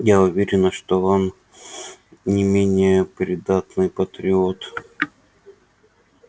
я уверена что он не менее преданный патриот